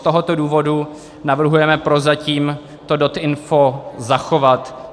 Z tohoto důvodu navrhujeme prozatím to DotInfo zachovat.